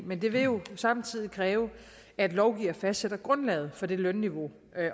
men det vil jo samtidig kræve at lovgiverne fastsætter grundlaget for det lønniveau